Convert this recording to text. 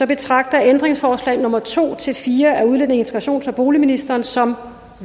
betragter jeg ændringsforslag nummer to fire af udlændinge integrations og boligministeren som